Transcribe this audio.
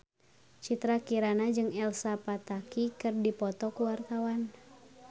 Citra Kirana jeung Elsa Pataky keur dipoto ku wartawan